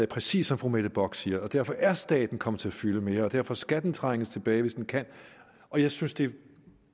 præcis som fru mette bock siger derfor er staten kommet til at fylde mere og derfor skal den trænges tilbage hvis den kan jeg synes det